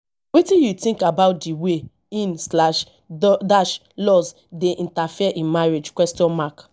wetin you think about di way in slash dash laws dey interfere in marriage question mark